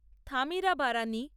Thamirabarani